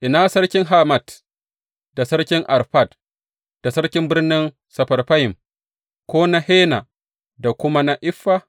Ina sarkin Hamat, da sarkin Arfad, da sarkin birnin Sefarfayim, ko na Hena da kuma na Iffa?